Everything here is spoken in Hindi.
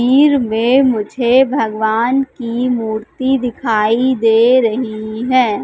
में मुझे भगवान की मूर्ति दिखाई दे रही है।